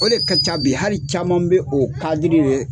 O de ka ca bi hali caman bɛ o kadiri le